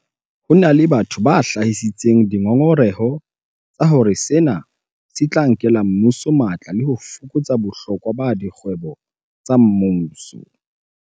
Ho na le batho ba hlahisitseng dingongoreho tsa hore sena se tla nkela mmuso matla le ho fokotsa bohlokwa ba dikgwebo tsa mmuso.